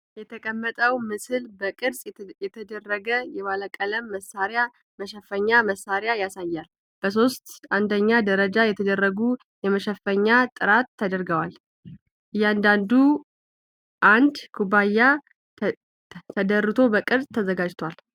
የተቀመጠው ምስል በቅርጽ የተደረገ የባለቀለም የመሳሪያ መሸፈኛ መሳሪያዎችን ያሳያል። በሶስት አንደኛ ደረጃ የተደረጉ የመሸፈኛ ጥራት ተደርተዋል፣ እያንዳንዱ እንደ ኩባያ ተደርቷ በቅርጽ ተዘጋጅቷል።